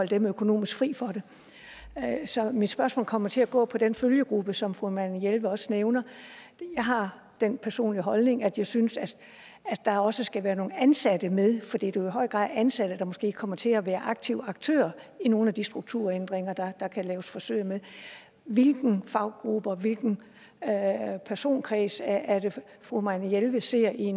dem økonomisk så mit spørgsmål kommer til at gå på den følgegruppe som fru marianne jelved også nævner jeg har den personlige holdning at jeg synes der også skal være nogle ansatte med for det er jo i høj grad ansatte der måske kommer til at være aktive aktører i nogle af de strukturændringer der kan laves forsøg med hvilken faggruppe og hvilken personkreds er det fru marianne jelved ser i